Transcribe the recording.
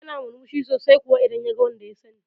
Yana murmushi sosai kuwa idan yaga wanda ya sani